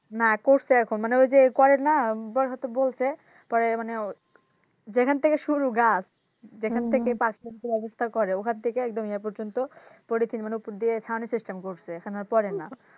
না করছে এখন মানে ওইযে করেনা হয়তো বলছে পরে মানে যেখান থেকে শুরু গাছ যেখান থেকে পাখি করে ওখান থেকে একদম ইয়ে পর্যন্ত মানে উপর দিয়ে ছাউনি system করেছে এখন আর পড়ে না।